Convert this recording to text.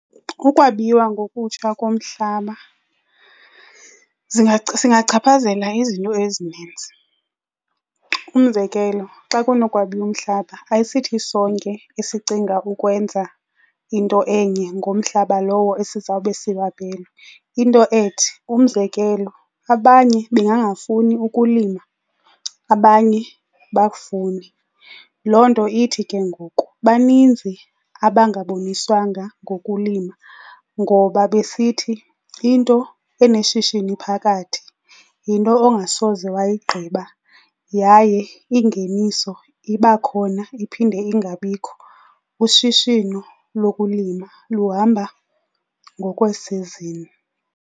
Ukwabiwa ngokutsha komhlaba zingachaphazela izinto ezininzi. Umzekelo, xa kunokwabiwa umhlaba ayisithi sonke esicinga ukwenza into enye ngomhlaba lowo esizawube siwabelwe, into ethi, umzekelo abanye bangangafuni ukulima, abanye bakufune. Loo nto ithi ke ngoku baninzi abangaboniswanga ngokulima ngoba besithi into eneshishini phakathi yinto ongasoze wayigqiba yaye ingeniso iba khona iphinde ingabikho, ushishino lokulima luhamba ngokweesizini.